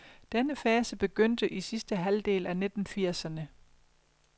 Denne fase begyndte i sidste halvdel af nitten firserne.